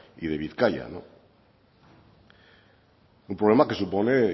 y de bizkaia un problema que supone